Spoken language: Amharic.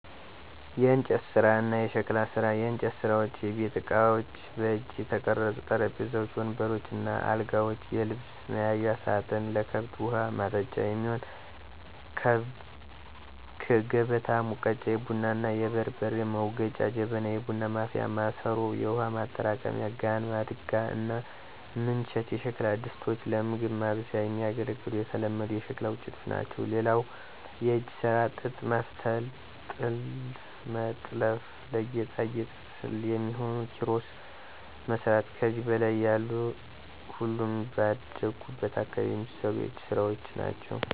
**የእንጨት ስራ እና የሸክላ ስራ፦ *የእንጨት ስራዎች * የቤት እቃዎች: በእጅ የተቀረጹ ጠረጴዛዎች፣ ወንበሮች እና አልጋዎች፣ የልብስ መያዣ ሳጥን፣ ለከብት ውሀ ማጠጫ የሚሆን ከበታ፣ ሙገጫ(የቡና እና የበርበሬ መውገጫ) ጀበና (የቡና ማፍያ ማሰሮ)፣ የውሃ ማጠራቀሚያ ጋን፣ ማድጋ እና ምንቸት የሸክላ ድስቶች ለምግብ ማብሰያ የሚያገለግሉ የተለመዱ የሸክላ ውጤቶች ናቸው። *ሌላው የእጅ ስራ ጥጥ መፍተል *ጥልፍ መጥለፍ *ለጌጣጌጥ የሚሆኑ ኪሮስ መስራት ከዚህ በላይ ያሉ ሁሉም ባደኩበት አካባቢ የሚሰሩ የእጅ ስራወች ናቸው።